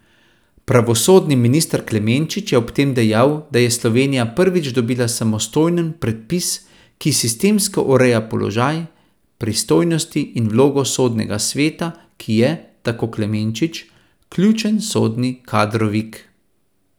Pravosodni minister Klemenčič je ob tem dejal, da je Slovenija prvič dobila samostojen predpis, ki sistemsko ureja položaj, pristojnosti in vlogo Sodnega sveta, ki je, tako Klemenčič, ključen sodni kadrovik.